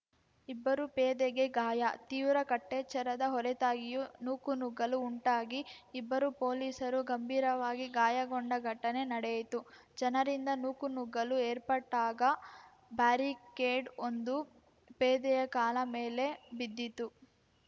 ಇಬ್ಬರು ಪೇದೆಗೆ ಗಾಯ ತೀವ್ರ ಕಟ್ಟೆಚ್ಚರದ ಹೊರತಾಗಿಯೂ ನೂಕುನುಗ್ಗಲು ಉಂಟಾಗಿ ಇಬ್ಬರು ಪೊಲೀಸರು ಗಂಭೀರವಾಗಿ ಗಾಯಗೊಂಡ ಘಟನೆ ನಡೆಯಿತು ಜನರಿಂದ ನೂಕುನುಗ್ಗಲು ಏರ್ಪಟ್ಟಾಗ ಬ್ಯಾರಿಕೇಡ್‌ವೊಂದು ಪೇದೆಯ ಕಾಲಮೇಲೆ ಬಿದ್ದಿತ್ತು